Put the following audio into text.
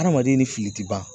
Adamaden ni fili ti ban.